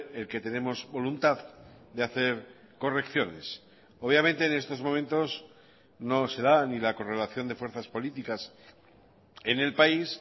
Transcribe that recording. el que tenemos voluntad de hacer correcciones obviamente en estos momentos no se da ni la correlación de fuerzas políticas en el país